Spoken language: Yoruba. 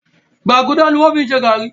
Gbàgùdà ni wọ́n fi ń ṣe gàárì